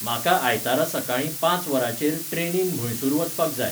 म्हाका आयतारा सकाळीं पांच वरांचेर ट्रनीन म्हैसूर वचपाक जाय